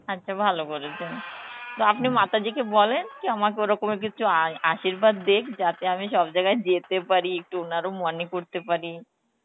আচ্ছা ভালো বলেছেন, তো মাতাজি কে বলেন কি আমাকে ওরকমের কিছু আশির্বাদ দিক যাতে আমি সব জায়গায় যেতে পারি একটু করতে পারি